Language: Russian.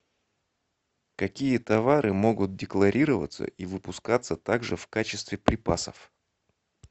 какие товары могут декларироваться и выпускаться также в качестве припасов